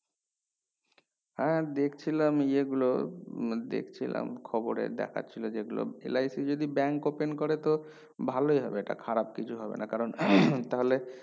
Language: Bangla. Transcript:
হ্যাঁ দেখছিলাম ইয়া গুলো মা দেখছিলাম খবরে দেখছিলো যেগুলো LIC যদি bank open করে তো ভালোই হবে এটা খারাপ কিছু হবে না কারণ তাহেল